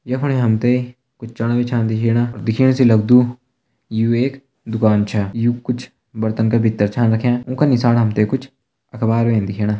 यख फणी हम तें कुछ चणा भी छन दिखेणा और दिखेण से लग्दु यु एक दुकान छा यु कुछ बर्तन का भितर छा रख्यां उं का नीसाण हम तें कुछ अखबार छन दिखेणा।